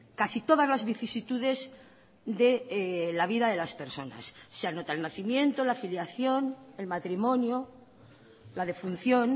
casi todas las vicisitudes de la vida de las personas se anota el nacimiento la filiación el matrimonio la defunción